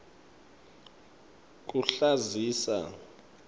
kuhlazisa